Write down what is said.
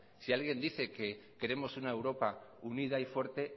si alguien dice que queremos una europa unida y fuerte